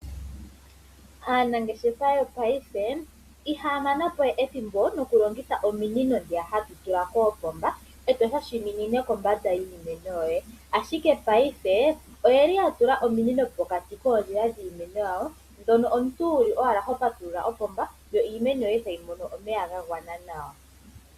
Aanangeshefa yopayife ihaya manapo we ethimbo nokulongitha ominino dhiya hadhi tula koopomba eto shashaminine kombanda yiimeno yoye, ashike payife oyeli yatula ominino pokati koondjila dhiimeno yawo dhono omuntu wuli owala hopatulula kopomba yo iimeno tayi mono omeya ga gwana nawa.